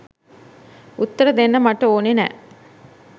උත්තර දෙන්න මට ඕනේ නෑ.